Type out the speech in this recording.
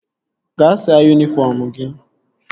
Gaa saa yunifọm gị!